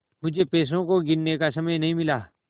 मुझे पैसों को गिनने का समय नहीं मिला